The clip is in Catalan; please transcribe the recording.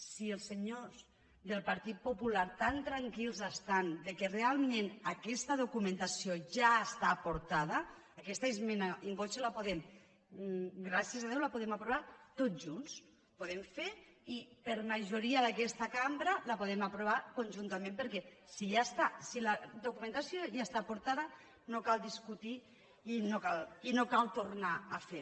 si el senyors del partit popular tan tranquils estan que realment aquesta do·cumentació ja està aportada aquesta esmena in voce gràcies a déu la podem aprovar tots junts podem fer i per majoria d’aquesta cambra la podem aprovar con·juntament perquè si la documentació ja està aporta·da no cal discutir i no cal tornar a fer